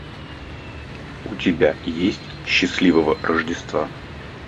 у тебя есть счастливого рождества